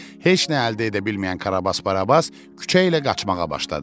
Heç nə əldə edə bilməyən Karabas Barabas küçə ilə qaçmağa başladı.